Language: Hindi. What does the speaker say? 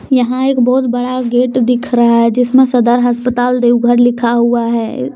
यहां एक बहुत बड़ा गेट दिख रहा है जिसमें सदर अस्पताल देवघर लिखा हुआ है।